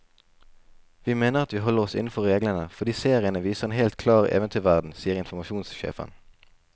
Vi mener at vi holder oss innenfor reglene, fordi seriene viser en helt klar eventyrverden, sier informasjonssjefen.